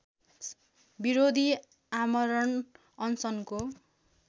विरोधी आमरण अनसनको